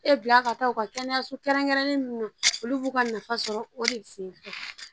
E bila ka taa u ka kɛnɛyaso kɛrɛnkɛrɛnnen ninnu olu b'u ka nafa sɔrɔ o de ye se